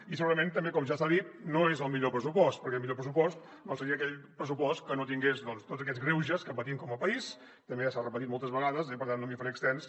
i segurament també com ja s’ha dit no és el millor pressupost perquè el millor pressupost seria aquell pressupost que no tingués tots aquests greuges que patim com a país també ja s’ha repetit moltes vegades i per tant no m’hi faré extens